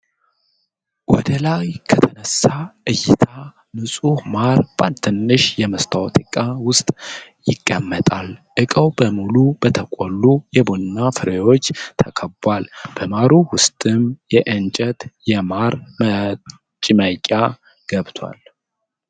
ወደ ላይ ከተነሳ እይታ ንፁህ ማር በአንድ ትንሽ የመስታወት ዕቃ ውስጥ ይቀመጣል። እቃው በሙሉ በተቆሉ የቡና ፍሬዎች ተከቧል። በማሩ ውስጥ የእንጨት የማር መጭመቂያ ገብቷል።